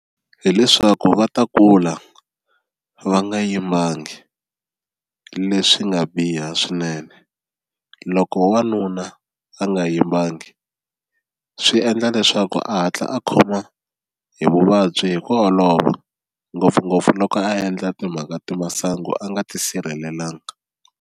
Hi leswaku va ta kula va nga yimbangi leswi nga biha swinene loko wanuna a nga yimbangi swi endla leswaku a hatla a khoma hi vuvabyi hi ku olova ngopfungopfu loko a endla timhaka ta masangu a nga tisirhelelanga.